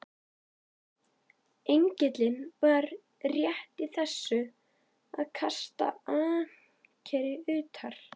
Engillinn var rétt í þessu að kasta ankeri utar.